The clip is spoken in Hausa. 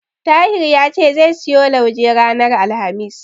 Tahir ya ce zai siyo lauje ranar Alhamis.